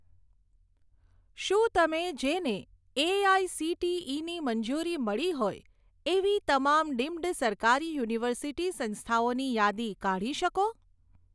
શું તમે જેને એઆઇસીટીઇની મંજૂરી મળી હોય એવી તમામ ડીમ્ડ સરકારી યુનિવર્સિટી સંસ્થાઓની યાદી કાઢી શકો?